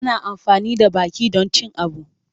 Ana amfani da baki don cin abu.